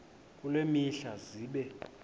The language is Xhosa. kule mihla zibe